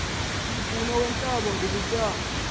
umfuno weentaba bubutyani